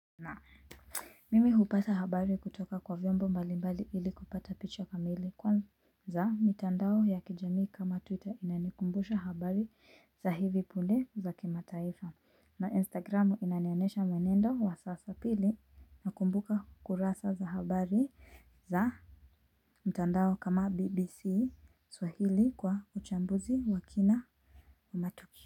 Mimi hupata habari kutoka kwa vyombo mbali mbali ili kupata picha kamili kwanza mitandao ya kijamii kama twitter inanikumbusha habari za hivi punde za kimataifa na instagramu inanionyesha mwenendo wa sasa pili na kumbuka kurasa za habari za mtandao kama bbc swahili kwa uchambuzi wa kina wa matukio.